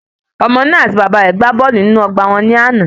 Ọmọ náà àti Bàbá rè gbá bọ́ọ̀lù nínú ọgbà wọn ní àná